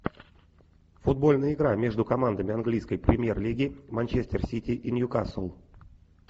футбольная игра между командами английской премьер лиги манчестер сити и ньюкасл